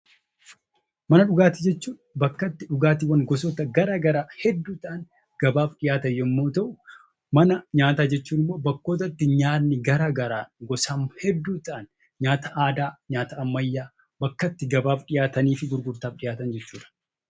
Mana dhugaatii jechuun bakka itti dhugaatiin gosoota gara garaa hedduu ta'an gabaaf dhiyaatan yommuu ta'u; Mana nyaataa jechuun immoo nyaanni gara garaa gosaan hedduu ta'an nyaata aadaa, nyaata ammayyaa bakka itti gabaaf dhuyaatanii fi gurgurtaaf dhiyaatan jechuudha.